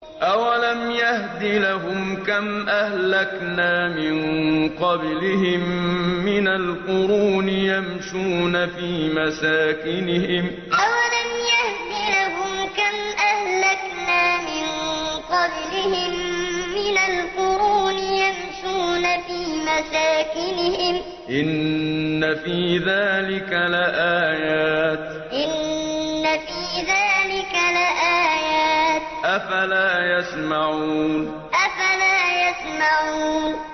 أَوَلَمْ يَهْدِ لَهُمْ كَمْ أَهْلَكْنَا مِن قَبْلِهِم مِّنَ الْقُرُونِ يَمْشُونَ فِي مَسَاكِنِهِمْ ۚ إِنَّ فِي ذَٰلِكَ لَآيَاتٍ ۖ أَفَلَا يَسْمَعُونَ أَوَلَمْ يَهْدِ لَهُمْ كَمْ أَهْلَكْنَا مِن قَبْلِهِم مِّنَ الْقُرُونِ يَمْشُونَ فِي مَسَاكِنِهِمْ ۚ إِنَّ فِي ذَٰلِكَ لَآيَاتٍ ۖ أَفَلَا يَسْمَعُونَ